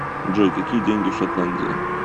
джой какие деньги в шотландии